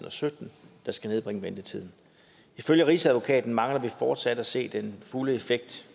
og sytten der skal nedbringe ventetiden ifølge rigsadvokaten mangler vi fortsat at se den fulde effekt